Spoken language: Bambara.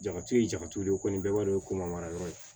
Jaba turu ye jago de ye ko ni bɛɛ b'a dɔn ko mariya ye